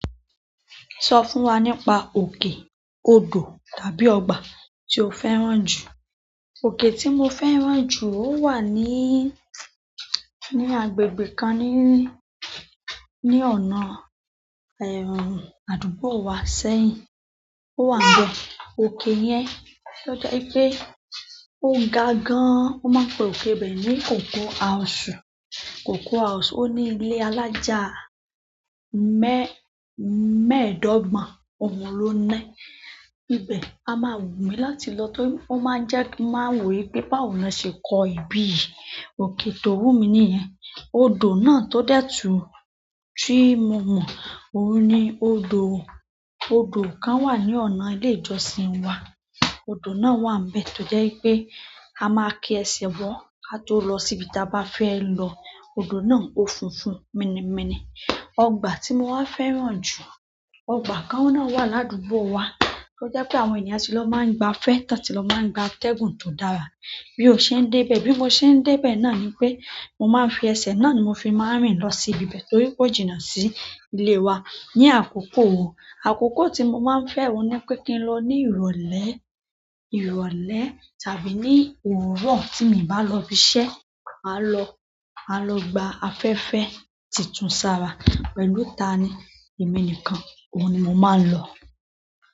Sọ fún wa nípa òkè, odò tàbí ọgbà tí o fẹ́ràn jù. Oke tí mo fẹ́ràn jù ó wà ní, ní agbègbè kan ní, ní ọ̀nà àdúgbò wa sẹ́yìn. Ó wà níbẹ̀. Oke yẹn, ó jẹ́ wipé ó ga gan. Won maa n pe oke ibe ni ogo ausu Cocoa house o ni ile alaja meedogbon oun lo ni níbẹ̀. A máa wù mí láti lọ tóri, ó máa ń jẹ́ kí n máa wò pé báwo ni wọ́n ṣe kó ibí yìí. Oke tó wù mí nìyẹn. Odò náà tó dẹ̀ tú tí mo mọ̀ óun ni odò, odò kan wà ní ọ̀nà ilé ìjọsìn wa. Odò náà wà níbẹ̀ tó jẹ́ wipé a máa kí ẹsẹ̀ bọ̀ ka to lọ síbi tí a bá fẹ́ lọ. Odò náà ó funfun míni míni. Ọgbà tí mo wá fẹ́ràn jù, ọgbà kan náà wà ládúgbò wa. Ó jẹ́ pé àwọn ènìyàn ti lọ máa ń gba fẹ́ tán tí lọ máa ń gba atẹ́gùn tó dára. Bi o se n debe, bi mo se maa n debe náà ni pe mo maa n fi ese náà ni mo fi maa n rin lo si ibi ibe torí ko jina si ile wa. Ni àkókò wo? Àkókò tí mo máa ń fẹ́ òun ni pé kí n lọ ní ìrọ̀lẹ́, ìrọ̀lẹ́ tàbí ní òwúrọ̀ tí mi o bá lọ ibi iṣẹ́. Màá lọ, màá lọ gba afẹ́fẹ́ tí tún ṣàrà pẹ̀lú ta ni? Emi nìkan oun ni mo maa n lo.